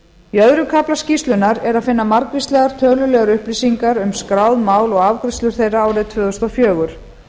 í öðrum kafla skýrslunnar er að finna margvíslegar tölulegar upplýsingar um skráð mál og afgreiðslur þeirra árið tvö þúsund og fjögur